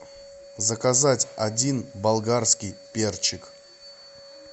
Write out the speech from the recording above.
заказать один болгарский перчик